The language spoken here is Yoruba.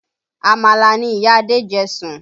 Àmàlà ni ìyá Adé jẹ sùn